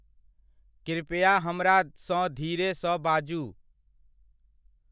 कृपया हमरा सँ धीरे सऽ बाजू।